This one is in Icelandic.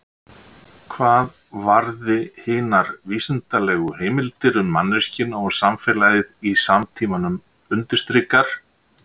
Hvað varði hinar vísindalegu heimildir um manneskjuna og samfélagið í samtímanum undirstrikar